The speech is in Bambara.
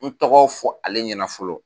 N tɔgɔ fɔ ale ɲɛna fɔlɔ